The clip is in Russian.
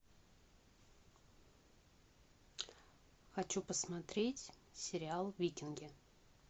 хочу посмотреть сериал викинги